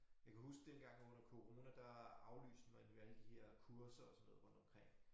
Jeg kan huske dengang under corona der aflyste man jo alle de her kurser og sådan noget rundtomkring